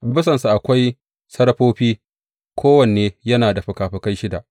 A bisansa akwai serafofi, kowanne yana da fikafikai shida.